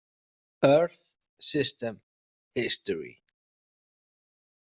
Earth System History.